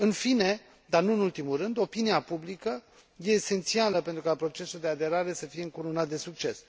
În fine, dar nu în ultimul rând, opinia publică e esențială pentru ca procesul de aderare să fie încununat de succes.